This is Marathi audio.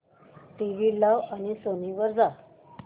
टीव्ही लाव आणि सोनी वर जा